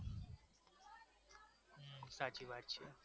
સાચી વાત છે